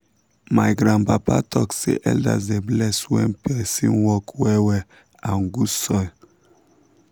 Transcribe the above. my grandpapa talk say elders dey bless when person work well well and good soil.